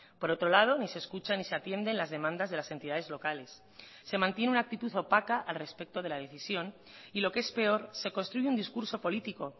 por otro lado ni se escucha ni se atienden las demandas de las entidades locales se mantiene una actitud opaca al respecto de la decisión y lo que es peor se construye un discurso político